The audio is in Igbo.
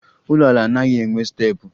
Ụlọala anaghị enwe steepụ